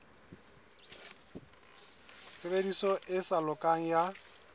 tshebediso e sa lokang ya